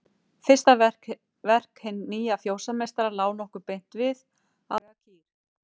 Fyrsta verk hins nýja fjósameistara lá nokkuð beint við: Að útvega kýr.